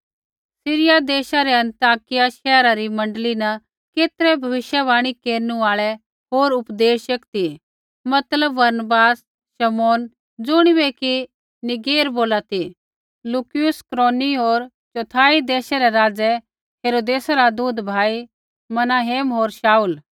सिरिया देशा रै अन्ताकिया शैहरा री मण्डली न केतरै भविष्यवाणी केरनु आल़ा होर उपदेशक ती मतलब बरनबास शमौन ज़ुणिबै कि नीगेर बोला सी लुकियुस कुरेनी होर चौथाई देशै रै राज़ै हेरोदेसा रा दूधभाई मनाहेम होर शाऊल